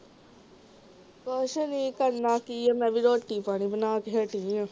ਕੁਝ ਨਹੀਂ ਕਰਨਾ ਕੀ ਆ ਮੈਂ ਵੀ ਰੋਟੀ ਪਾਣੀ ਬਣਾ ਕੇ ਹਟੀ ਆਂ